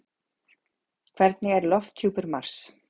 Hvernig er lofthjúpur Mars?